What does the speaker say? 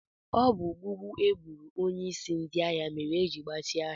Ọ bụ gbugbu egburu onyeisi ndị ahịa mere ejiri gbachie ahịa.